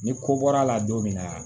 Ni ko bɔr'a la don min na